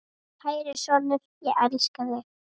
Kæri sonur, ég elska þig.